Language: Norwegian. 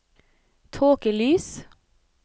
tåkelys